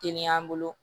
Teliya an bolo